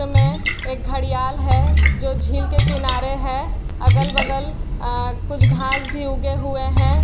चित्र में एक घड़ियाल है जो झील के किनारे है अगल-बगल आ कुछ घास भी उगे हुए हैं।